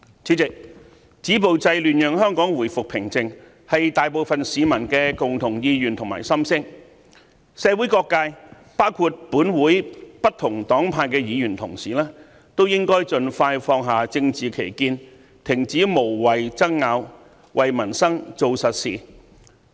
主席，止暴制亂讓香港回復平靜，是大部分市民的共同意願及心聲，社會各界包括本會不同黨派的議員同事都應該盡快放下政治歧見，停止無謂爭拗，為民生做實事。